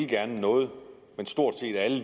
noget men stort set alle